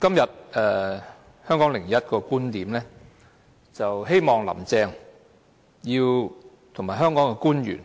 今天《香港01》的"十九大.觀點"提到，希望"林鄭"及香港官員